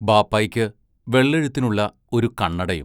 ബാപ്പായ്ക്ക് വെള്ളെഴുത്തിനുള്ള ഒരു കണ്ണടയും.